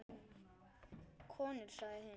Konur sagði hinn.